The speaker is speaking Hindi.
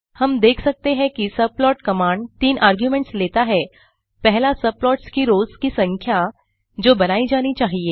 हम देख सकते हैं कि सबप्लॉट कमांड तीन आर्गुमेंट्स लेता हैं पहला सबप्लॉट्स की रोस की संख्या जो बनाई जानी चाहिए